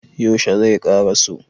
yaushe zai ƙaraso?